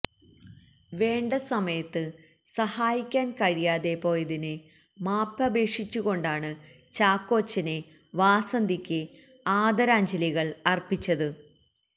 വേണ്ട സമയത്ത് സഹായിക്കാന് കഴിയാതെ പോയതിന് മാപ്പപേക്ഷിച്ച് കൊണ്ടാണ് ചാക്കോച്ചന് വാസന്തിയ്ക്ക് ആദരാഞ്ജലികള് അര്പ്പിച്ചത്